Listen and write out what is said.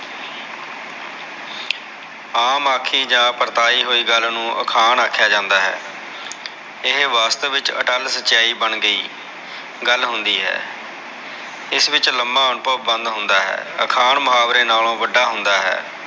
ਆਮ ਆਖੀ ਜਾ ਪਰਤਾਈ ਹੋਈ ਗਲ ਨੂ ਅਖਾਣ ਆਖਿਆ ਜਾਂਦਾ ਹੈ ਇਹ ਵਾਸਤਵ ਵਿਚ ਅਟਲ ਸਚਾਈ ਬਣ ਗਈ ਗਲ ਹੁੰਦੀ ਹੈ ਇਸ ਵਿਚ ਲਮਾ ਅਨੁਭਵ ਬੰਦ ਹੁੰਦਾ ਹੈ ਅਖਾਣ ਮੁਹਾਵਰੇ ਨਾਲੋ ਵਡਾ ਹੁੰਦਾ ਹੈ